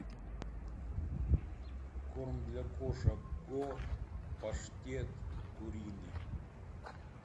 корм для кошек го паштет куриный